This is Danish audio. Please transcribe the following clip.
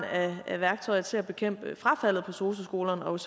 er af værktøjer til at bekæmpe frafaldet på sosu skolerne og